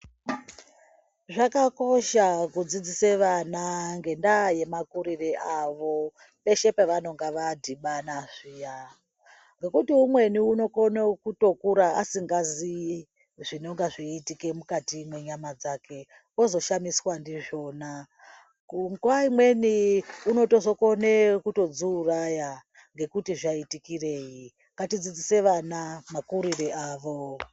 Zvakakosha kudzidzise vana ngendaa yemakurire avo peshe pavanonga vadhibana zviya. Ngekuti umweni unokone kutokura asikazii zvinenge zveiitika mukati mwenyama dzake, ozoshamiswa ndizvona. Nguva imweni unokona kutodziuraya ngekuti zvaitikirei. Ngatidzidzise vana makurire avo.